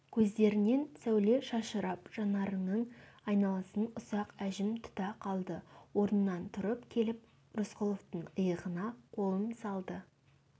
көздерінен сәуле шашырап жанарының айналасын ұсақ әжім тұта қалды орнынан тұрып келіп рысқұловтың иығына қолын салды